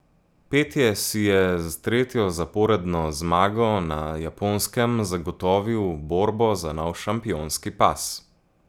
Petje si je z tretjo zaporedno zmago na Japonskem zagotovil borbo za nov šampionski pas.